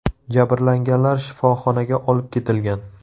Jabrlanganlar shifoxonaga olib ketilgan.